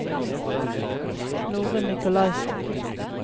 Norunn Nicolaysen